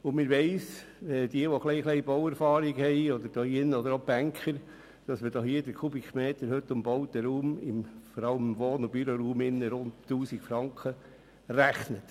Diejenigen im Saal mit ein bisschen Bauerfahrung – oder auch die Banker – wissen, dass man für den Kubikmeter an Wohn- und Büroraum mit rund 1000 Franken rechnet.